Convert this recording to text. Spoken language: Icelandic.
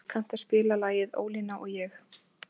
Bresi, kanntu að spila lagið „Ólína og ég“?